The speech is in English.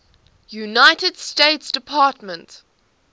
united states department